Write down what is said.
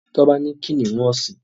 Toba ní kìnìún ọsin.